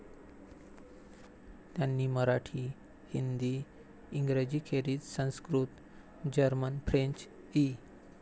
त्यांनी मराठी, हिंदी, इंग्रजी खेरीज Sanskrit, German, French इ.